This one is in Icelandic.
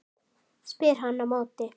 spyr hann á móti.